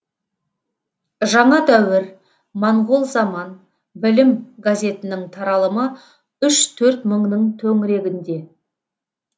жаңа дәуір моңғол заман білім газетінің таралымы үш төрт мыңның төңірегінде